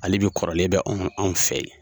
Hali bi kɔrɔlen be anw fɛ yen.